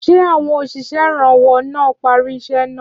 Ṣé àwọn òṣìṣẹ́ ìrànwọ́ náà parí iṣẹ́ náà?